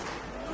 Bax.